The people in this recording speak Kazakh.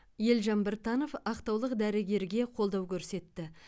елжан біртанов ақтаулық дәрігерге қолдау көрсетті